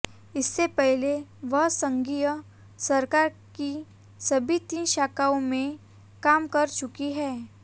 इससे पहले वह संघीय सरकार की सभी तीन शाखाओं में काम कर चुकी हैं